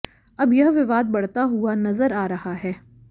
अब यह विवाद बढता हुआ नजर आ रहा है